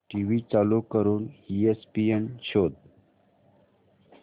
TV चालू करून ESPN शोध